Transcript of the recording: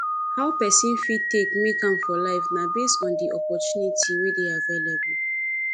how person fit take make am for life na based on di opportunity wey dey available